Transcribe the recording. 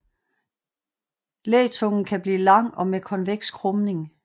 Lætungen kan blive lang og med konveks krumning